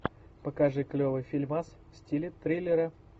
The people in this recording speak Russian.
покажи клевый фильмас в стиле триллера